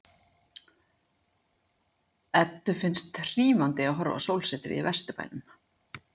Eddu finnst hrífandi að horfa á sólsetrið í Vesturbænum.